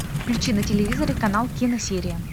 включи на телевизоре канал киносерия